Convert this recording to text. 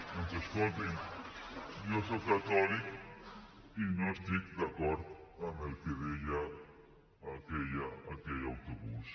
doncs escolti’m jo soc catòlic i no estic d’acord amb el que deia aquell autobús